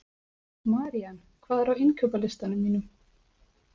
Marían, hvað er á innkaupalistanum mínum?